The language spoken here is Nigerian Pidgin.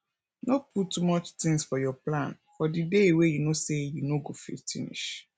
no put too much things for your plan for di day wey you know sey you no go fit finish